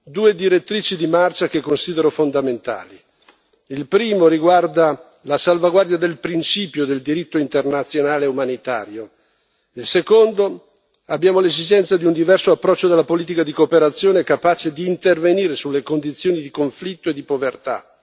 Due direttrici di marcia che considero fondamentali la prima riguarda la salvaguardia del principio del diritto internazionale umanitario. La seconda, abbiamo l'esigenza di un diverso approccio della politica di cooperazione capace di intervenire sulle condizioni di conflitto e di povertà.